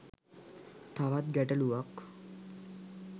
තවත් ගැටළුවක්.